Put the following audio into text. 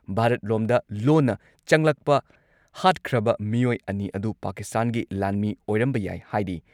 ꯚꯥꯔꯠꯂꯣꯝꯗ ꯂꯣꯟꯅ ꯆꯪꯂꯛꯄ ꯍꯥꯠꯈ꯭ꯔꯕ ꯃꯤꯑꯣꯏ ꯑꯅꯤ ꯑꯗꯨ ꯄꯥꯀꯤꯁꯇꯥꯟꯒꯤ ꯂꯥꯟꯃꯤ ꯑꯣꯏꯔꯝꯕ ꯌꯥꯏ ꯍꯥꯏꯔꯤ ꯫